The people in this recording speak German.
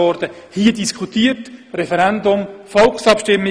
Das wurde hier diskutiert, es gab ein Referendum und eine Volksabstimmung.